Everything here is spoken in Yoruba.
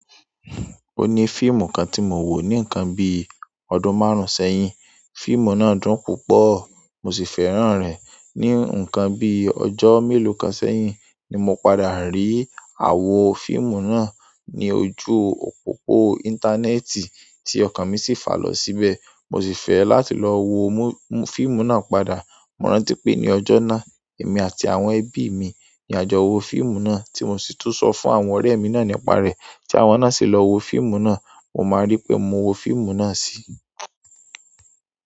O ní fíìmù kan tí mo wo ní ǹkan bí i ọdún márùn-ún sẹ́yìn. Fíìmù náà dùn púpọ̀ mo sì fẹ́ràn rẹ̀. Ní ǹkan bí i ọjọ́ mélòó kan sẹ́yìn ni mo padà rí àwo fíìmù náà ní ojú òpópó íńtánẹ́ẹ̀tì tí ọkàn mi sì fà lọ síbẹ̀. Mo sì fẹ́ láti lọ wo fíìmù náà padà. Mo rántí pé ní ọjọ́ náà, èmi àti àwọn ẹbí mi ni a jọ wo fíìmù náà tí mo sì tún sọ fún àwọn ọ̀rẹ́ mi náà nípa rẹ̀ tí àwọn náà sì lọ wo fíìmù náà. Mo máa rí pé mo wo fíìmù náà sí.